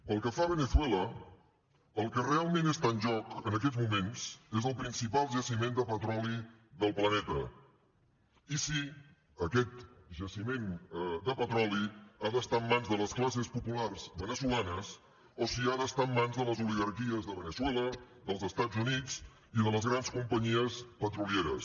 pel que fa a veneçuela el que realment està en joc en aquests moments és el principal jaciment de petroli del planeta i si aquest jaciment de petroli ha d’estar en mans de les classes populars veneçolanes o si ha d’estar en mans de les oligarquies de veneçuela dels estats units i de les grans companyies petrolieres